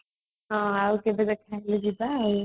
ଆଉ କେବେ ଦେଖା ହେଲେ ଯିବା ଆଉ